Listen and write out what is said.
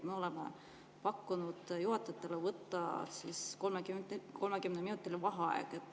Me oleme pakkunud juhatajatele võtta 30-minutiline vaheaeg.